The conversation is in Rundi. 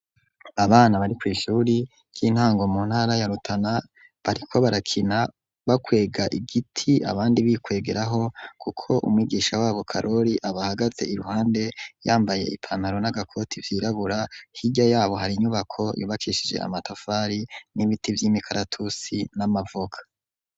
Abana bari kw'ishure ry'intango mu ntara ya rutana bariko barakina bakwega igiti abandi bikwegeraho kuko umwigisha wabo karoli aba hagaze i ruhande yambaye ipanaro n'agakoti byirabura higya yabo hari inyubako yubakishije amatavari n'ibiti by'imikaratusi n'amavoka.